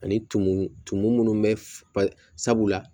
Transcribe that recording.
Ani tumu tumu minnu bɛ f sabula